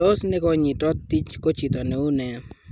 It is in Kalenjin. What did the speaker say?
Tos nekonyitot Tij ko chito neune?